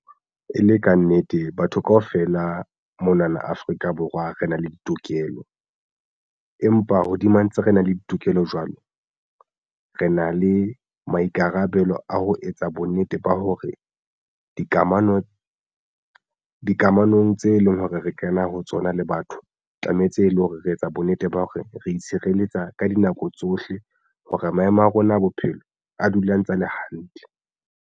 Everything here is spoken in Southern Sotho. E le kannete batho kaofela mona na Afrika Borwa re na le ditokelo empa hodima ntse re na le ditokelo jwalo re na le maikarabelo a ho etsa bonnete ba hore dikamano dikamanong tse leng hore re kena ho tsona le batho tlametse e leng hore re etsa bonnete ba hore re itshireletsa ka dinako tsohle hore maemo a rona a bophelo a dula a ntsa a le hantle.